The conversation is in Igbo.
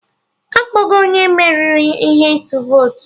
Akpọgo onye meriri ihe ịtụ votu